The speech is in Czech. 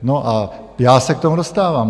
No, a já se k tomu dostávám.